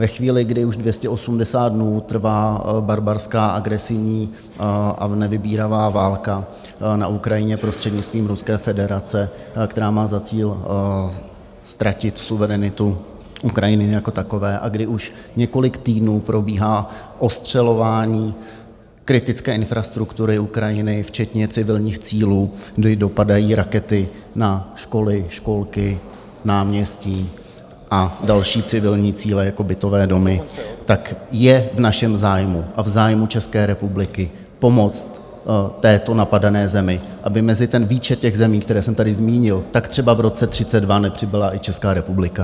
Ve chvíli, kdy už 280 dnů trvá barbarská, agresivní a nevybíravá válka na Ukrajině prostřednictvím Ruské federace, která má za cíl ztratit suverenitu Ukrajiny jako takové a kdy už několik týdnů probíhá ostřelování kritické infrastruktury Ukrajiny včetně civilních cílů, kdy dopadají rakety na školy, školky, náměstí a další civilní cíle jako bytové domy, tak je v našem zájmu a v zájmu České republiky pomoct této napadené zemi, aby mezi ten výčet těch zemí, které jsem tady zmínil, tak třeba v roce 2032 nepřibyla i Česká republika.